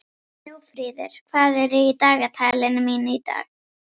Snjófríður, hvað er í dagatalinu mínu í dag?